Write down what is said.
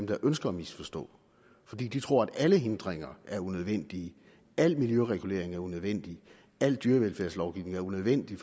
der ønsker at misforstå fordi de tror at alle hindringer er unødvendige at al miljøregulering er unødvendig at al dyrevelfærdslovgivning er unødvendig